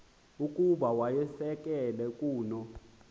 ukuba wayisakele kuno